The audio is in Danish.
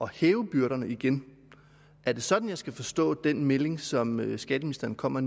hæve byrderne igen er det sådan jeg skal forstå den melding som skatteministeren kommer